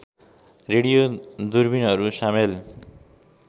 radio दूरबीनहरू सामेल